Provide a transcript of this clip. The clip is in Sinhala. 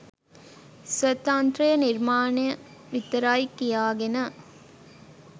ස්වතන්ත්‍ර නිර්මාණ විතරයි කියාගෙන